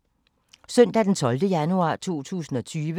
Søndag d. 12. januar 2020